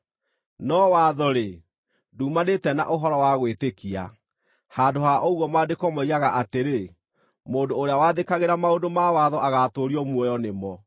No watho-rĩ, nduumanĩte na ũhoro wa gwĩtĩkia; handũ ha ũguo Maandĩko moigaga atĩrĩ, “Mũndũ ũrĩa wathĩkagĩra maũndũ ma watho agaatũũrio muoyo nĩ mo.”